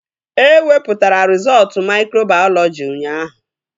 E wepụtara rizọọtu maikrobayọlọji ụnyaahụ